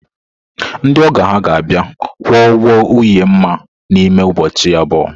Ndị ọgọ ha ga-abịa kwụọ ụgwọ nwunye Nma n’ime ụbọchị abụọ.